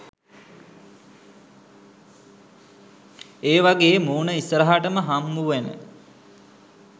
ඒවගේ මූණ ඉස්සරහටම හම්බුවෙන